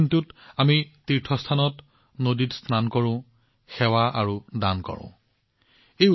আজিৰ দিনটোত তীৰ্থস্থানত আমি স্নান কৰোঁ আৰু সেৱা তথা আৰু দানবৰঙণি আগবঢ়াওঁ